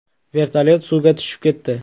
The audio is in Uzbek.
Vertolyot suvga tushib ketdi.